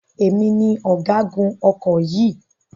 Èmi ni ọ̀gágun ọkọ̀ yìí.